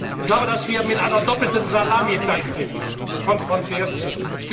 Ich glaube, dass wir mit einer doppelten Salamitaktik konfrontiert sind.